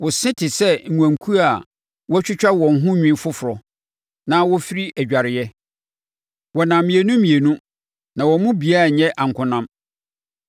Wo se te sɛ nnwankuo a wɔatwitwa wɔn ho nwi foforɔ, a wɔfiri adwareɛ. Wɔnam mmienu mmienu na wɔn mu biara nyɛ ankonam.